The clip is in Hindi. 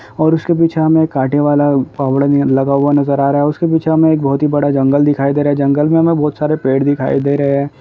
--और उसके पीछे हमें काटे वाला फावड़ा लगा हुआ नज़र आ रहा है उसके पीछे हमें एक बहुत ही बड़ा जंगल दिखाई दे रहा है जंगल मे हमें बहुत सारे पेड़ दिखाई दे रहे है।